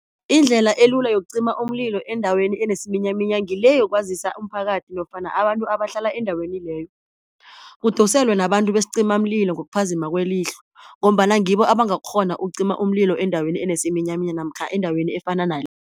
Indlela elula yokucima umlilo endaweni enesiminyaminya ngile yokwazisa umphakathi nofana abantu abahlala endaweni leyo, kudoselwe nabantu besicimamlilo ngokuphazima kwelihlo, ngombana ngibo abangakghona ukucima umlilo endaweni enesiminyaminya namkha endaweni efana